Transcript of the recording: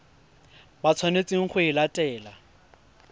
ba tshwanetseng go e latela